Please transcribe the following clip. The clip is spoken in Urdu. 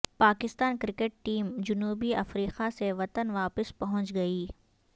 پاکستان کرکٹ ٹیم جنوبی افریقہ سے وطن واپس پہنچ گئی